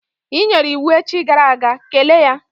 I nyere iwu echi gara aga, kelee ya!